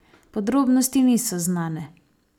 Podrobnosti niso znane.